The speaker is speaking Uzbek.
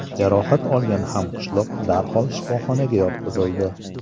Jarohat olgan hamqishloq darhol shifoxonaga yotqizildi.